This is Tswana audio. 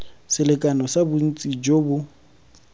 selekano sa bontsi jo bo